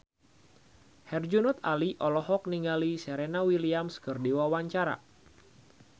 Herjunot Ali olohok ningali Serena Williams keur diwawancara